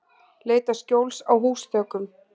Leita skjóls á húsþökum